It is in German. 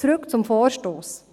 Zurück zum Vorstoss: